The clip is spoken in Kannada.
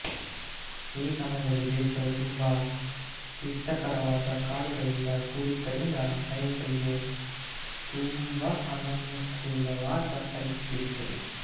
ಈ ಸಮಯದಲ್ಲಿ ದೇಶವು ತುಂಬ ಕ್ಲಿಷ್ಟಕರವಾದ ಕಾಡುಗಳಿಂದ ಕೂಡಿದ್ದರಿಂದ ಸೈನಿಕರಿಗೆ ತೂಂಬ ಅನಾನುಕೂಲವಾದ ಪರಿಸ್ಥಿತಿ ಇತ್ತು